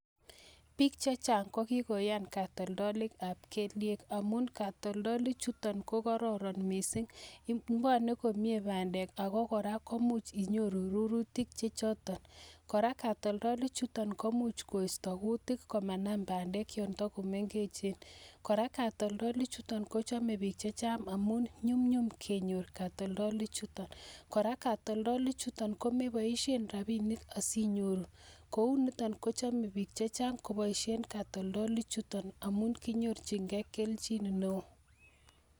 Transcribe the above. Piik chechang kokikoyaan katoltolik ap KTDA amun katoltolik chutok kochame. piik chechang amun nyumnyum kenyor katoltolik chutok